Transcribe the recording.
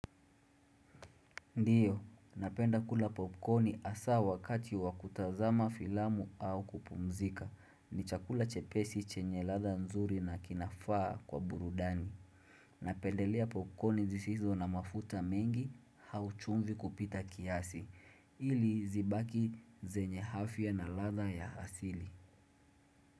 Ndiyo, napenda kula popcorni asa wakati wakutazama filamu au kupumzika. Ni chakula chepesi chenye latha nzuri na kinafaa kwa burudani. Napendelea popcorni zisizo na mafuta mengi hauchumvi kupita kiasi. Ili zibaki zenye afya na latha ya asili.